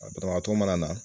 Banabatɔ mana na